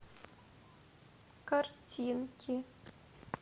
картинки